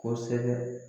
Kosɛbɛ